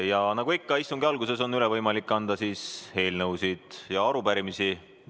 Ja nagu ikka, istungi alguses on võimalik anda üle eelnõusid ja arupärimisi.